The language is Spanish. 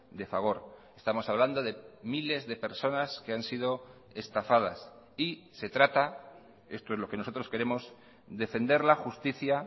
de fagor estamos hablando de miles de personas que han sido estafadas y se trata esto es lo que nosotros queremos defender la justicia